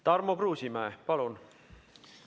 Tarmo Kruusimäe, palun!